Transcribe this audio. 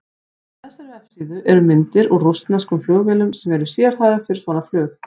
Á þessari vefsíðu eru myndir úr rússneskum flugvélum sem eru sérhæfðar fyrir svona flug.